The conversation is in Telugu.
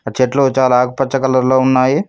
చెట్లు చాలా ఆకుపచ్చ కలర్ లో ఉన్నాయి.